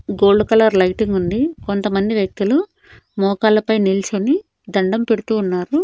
Gold colour lighting ఉంది కొంతమంది వ్యక్తులు మోకాళ్లపై నిల్చొని దండం పెడుతూ ఉన్నారు.